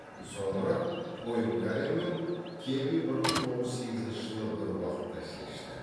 соңырақ пойнкаре мен кеби бір мың тоғыз жүз сегізінші жылы бір уақытта шешті